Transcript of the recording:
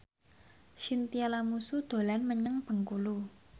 Chintya Lamusu dolan menyang Bengkulu